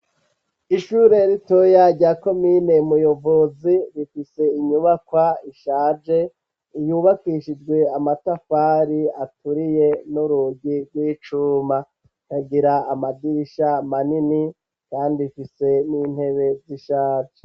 Ishure ritoya rya komine mu Yovozi rifise inyubakwa ishaje yubakishijwe amatafari aturiye n'urugi rw'icuma ikagira amadirisha manini kandi ifise n'intebe z'ishaje